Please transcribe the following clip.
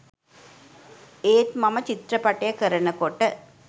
ඒත් මම චිත්‍රපටය කරනකොට